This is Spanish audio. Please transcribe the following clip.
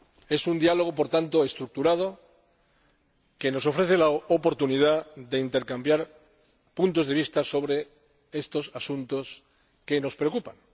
Es un Diálogo, por tanto, estructurado que nos ofrece la oportunidad de intercambiar puntos de vista sobre estos asuntos que nos preocupan.